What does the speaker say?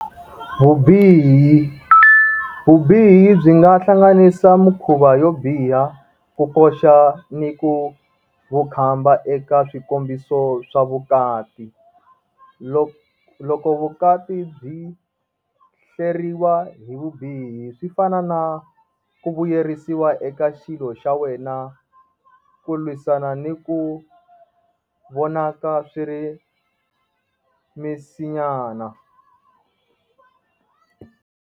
Vubihi, vubihi byi nga hlanganisa mikhuva yo biha, ku koxa ni ku vukhamba eka swikombiso swa vukati. loko vukati byi hleriwa hi vubihi, swi fana na ku vuyerisiwa eka xilo xa wena, ku lwisana ni ku vonaka swi ri misinyana.